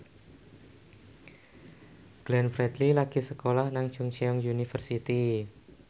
Glenn Fredly lagi sekolah nang Chungceong University